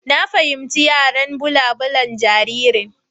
Na fahimci yaren balabulaban jaririn.